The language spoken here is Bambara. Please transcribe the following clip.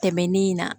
Tɛmɛnen in na